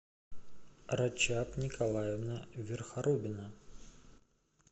рачаб николаевна верхоробина